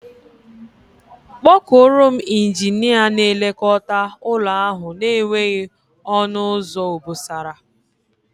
Kpọọ kuọrọ m Injinia na-elekota ụlọ ahu na-enweghị onu uzo obosara.